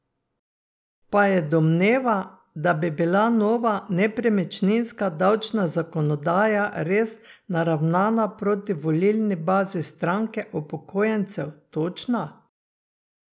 Pa je domneva, da bi bila nova nepremičninska davčna zakonodaja res naravnana proti volilni bazi stranke upokojencev, točna?